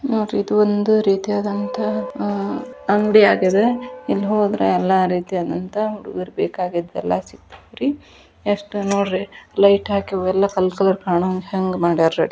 ನೋಡ್ರಿ ಇದು ಒಂದು ರೀತಿಯಾದಂತಹ ಅಂಗಡಿಯಾಗಿದೆ ಇಲ್ಲಿ ಹೋದ್ರೆ ಎಲ್ಲ ರೀತಿಯಾದಂತಹ ಹುಡುಗುರಿಗೆ ಬೇಕಾದ್ದೆಲ್ಲ ಸಿಗತೆ ತ್ ರೀ ಎಷ್ಟ್ ನೋಡ್ರಿ ಲೈಟ್ ಹಾಕಿ ಇವೆಲ್ಲ ಕಲರ್ ಕಲರ್ ಕಾಣೋಹಂಗ ಹೆಂಗ ಮಾಡ್ಯಾರ ರೀ